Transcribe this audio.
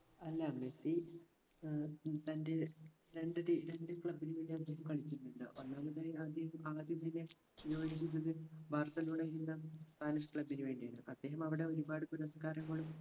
അല്ലാ Messi uh ah തൻറെ രണ്ട് ടീ രണ്ട് club ന് വേണ്ടി അദ്ദേഹം കളിക്കുന്നില്ല ഒന്നാമതായി അദ്ദേഹം ആദ്യം പിന്നെ ബാർസലോണ എന്ന spanish club ന് വേണ്ടിയാണ് അദ്ദേഹം അവിടെ ഒരുപാട് പുരസ്കാരങ്ങളും